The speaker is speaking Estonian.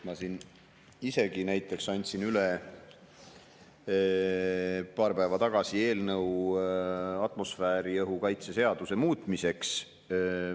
Ma siin isegi näiteks andsin paar päeva tagasi üle eelnõu atmosfääriõhu kaitse seaduse muutmiseks.